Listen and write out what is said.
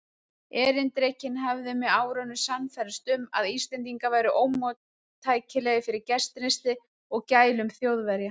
Erindrekinn hafði með árunum sannfærst um, að Íslendingar væru ómóttækilegir fyrir gestrisni og gælum Þjóðverja.